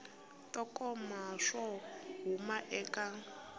to koma swo huma eka